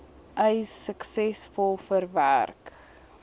eis suksesvol verwerk